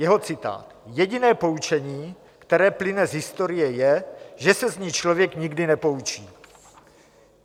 Jeho citát: "Jediné poučení, které plyne z historie, je, že se z ní člověk nikdy nepoučí."